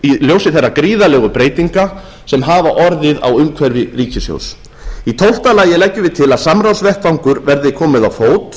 ljósi þeirra gríðarlegu breytinga sem hafa orðið á umhverfi ríkissjóðs í tólfta lagi leggjum við til að samráðsvettvangi verði komið á fót